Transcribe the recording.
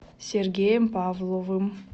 сергеем павловым